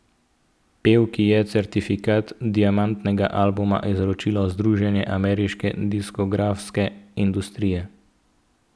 Pevki je certifikat diamantnega albuma izročilo Združenje ameriške diskografske industrije.